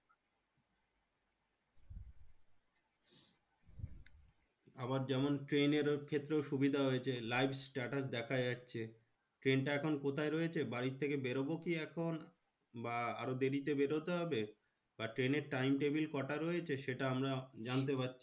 আবার যেমন ট্রেনের ক্ষেত্রেও সুবিধা হয়েছে। live status দেখা যাচ্ছে। ট্রেনটা এখন কোথায় রয়েছে? বাড়ির থেকে বেরোবো কি এখন? বা আরো দেরিতে বেরোতে হবে? বা ট্রেনের time table কটা রয়েছে? সেটা আমরা জানতে পারছি।